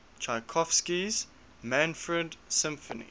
tchaikovsky's manfred symphony